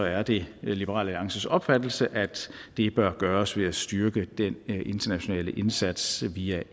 er det liberal alliances opfattelse at det bør gøres ved at styrke den internationale indsats via